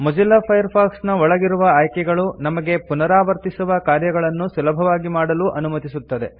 Mozilla Firefox ನ ಒಳಗಿರುವ ಆಯ್ಕೆಗಳು ನಮಗೆ ಪುನರಾವರ್ತಿಸುವ ಕಾರ್ಯಗಳನ್ನು ಸುಲಭವಾಗಿ ಮಾಡಲು ಅನುಮತಿಸುತ್ತದೆ